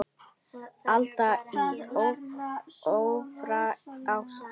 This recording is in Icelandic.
Alda í ofríki ástar.